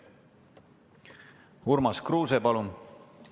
Urmas Kruuse, palun!